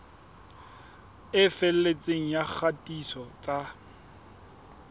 e felletseng ya kgatiso tsa